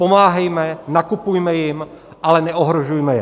Pomáhejme, nakupujme jim, ale neohrožujme je.